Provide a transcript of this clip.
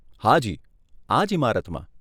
હાજી, આ જ ઈમારતમાં.